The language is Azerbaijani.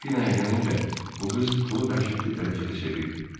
Delfinaya gəlincə, bu qız pulu dəhşətli dərəcədə sevirdi.